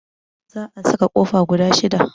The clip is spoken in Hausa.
Zaa saka kofa guda 6.